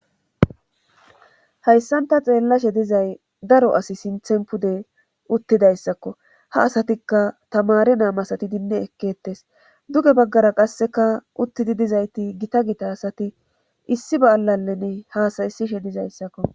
hayssan ta xeellashe dizay daro asi sinthen pude uttidayssakko ha asatikka tamare naam asati dinni ekkettes duge baggara qasseka uttidi dizayti gita gita asati issi ba7alaleni hasayisishe dizayssakko